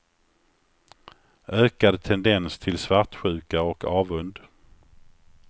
Ökad tendens till svartsjuka och avund.